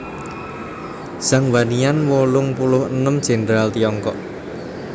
Zhang Wannian wolung puluh enem Jèndral Tiongkok